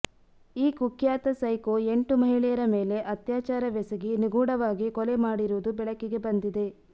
ಈ ಕುಖ್ಯಾತ ಸೈಕೋ ಎಂಟು ಮಹಿಳೆಯರ ಮೇಲೆ ಅತ್ಯಾಚಾರವೆಸಗಿ ನಿಗೂಢವಾಗಿ ಕೊಲೆ ಮಾಡಿರುವುದು ಬೆಳಕಿಗೆ ಬಂದಿದೆ